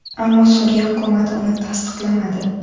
Ammo Suriya hukumati uni tasdiqlamadi.